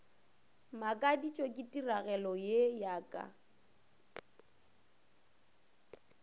makaditšwe ke tiragalo ye ka